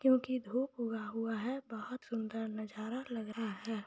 क्योंकी धुप ऊगा हुआ है बहोत सुंदर नजारा लग रहा है।